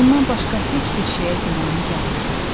Ondan başqa heç bir şeyə gümanı gəlmirdi.